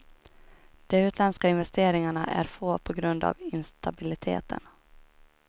De utländska investeringarna är få på grund av instabiliteten.